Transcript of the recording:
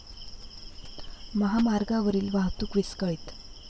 महामार्गावरील वाहतूक विस्कळीत ।